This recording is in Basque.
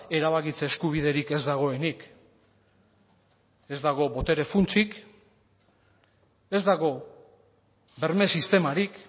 erabakitze eskubiderik ez dagoenik ez dago botere funtsik ez dago berme sistemarik